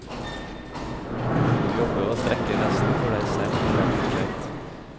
Du må jobbe og strekke lesten for deg selv for hvert prosjekt.